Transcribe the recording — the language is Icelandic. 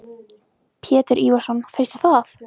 Pétur Ívarsson: Finnst þér það?